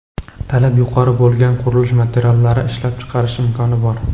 talab yuqori bo‘lgan qurilish materiallari ishlab chiqarish imkoni bor;.